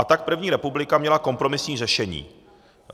A tak první republika měla kompromisní řešení.